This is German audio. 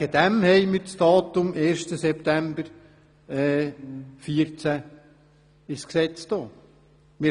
Deshalb haben wir als Datum den 1. September 2014 in die Gesetzesvorlage aufgenommen.